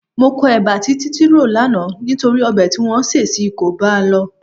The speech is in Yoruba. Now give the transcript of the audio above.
Mo kọ ẹba tí Títí rò lánàá nítorí ọbẹ̀ tí wọ́n sè sí i kò bá a lọ.